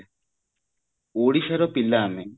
ଓଡିଶାର ପିଲା ଆମେ